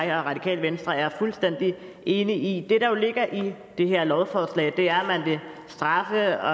jeg og radikale venstre er fuldstændig enige i det der jo ligger i det her lovforslag er at man vil straffe og